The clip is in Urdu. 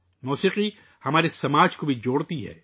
موسیقی ہمارے معاشرے کو بھی جوڑتی ہے